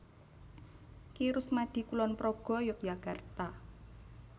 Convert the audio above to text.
Ki Rusmadi Kulonprogo Yogyakarta